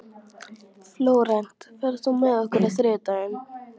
Flórent, ferð þú með okkur á þriðjudaginn?